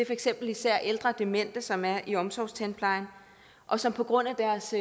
eksempel især ældre demente som er i omsorgstandplejen og som på grund af deres